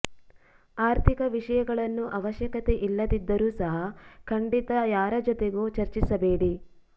ಆರ್ಥಿಕ ವಿಷಯಗಳನ್ನು ಅವಶ್ಯಕತೆ ಇಲ್ಲದಿದ್ದರೂ ಸಹ ಖಂಡಿತ ಯಾರ ಜೊತೆಗೂ ಚರ್ಚಿಸಬೇಡಿ